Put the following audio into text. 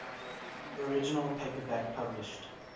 original paperback published